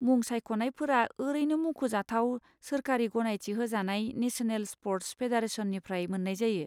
मुं सायख'नायफोरा ओरैनो मुंख'जाथाव सोरखारि गनायथि होजानाय नेसनेल स्प'र्टस फेडारेसननिफ्राय मोन्नाय जायो।